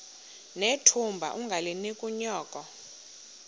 nethunga ungalinik unyoko